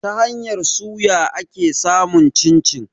Ta hanyar suya ake samun cin-cin.